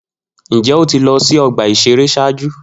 Njẹ o ti lọ si ọgba iṣere ṣaaju?